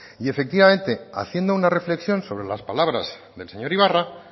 y efectivamente haciendo una reflexión sobre las palabras del señor ibarra